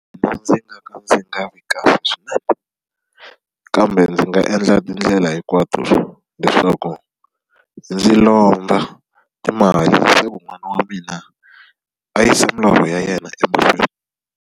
Mina ndzi nga ka ndzi nga vi kahle swinene. Kambe ndzi nga endla tindlela hinkwato leswaku ndzi lomba timali leswaku n'wana wa mina a yi se milorho ya yena emahlweni.